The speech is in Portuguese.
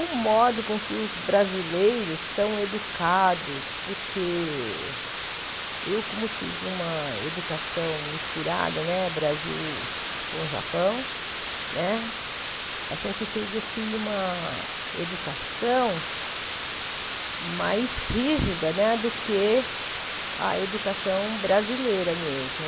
O modo com que os brasileiros são educados, porque eu, como tive uma educação misturada, né Brasil com Japão né, a gente teve assim uma educação mais rígida né do que a educação brasileira mesmo.